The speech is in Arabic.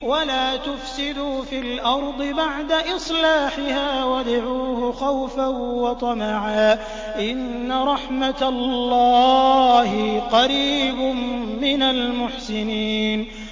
وَلَا تُفْسِدُوا فِي الْأَرْضِ بَعْدَ إِصْلَاحِهَا وَادْعُوهُ خَوْفًا وَطَمَعًا ۚ إِنَّ رَحْمَتَ اللَّهِ قَرِيبٌ مِّنَ الْمُحْسِنِينَ